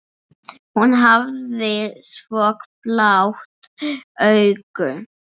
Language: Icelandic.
Hún hafði svo blá augu.